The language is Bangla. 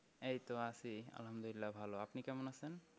এইতো আছি আলহামদুলিল্লাহ ভালো আপনি কেমন আছেন?